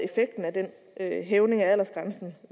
af hævningen af aldersgrænsen